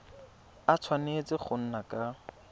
a tshwanetse go nna ka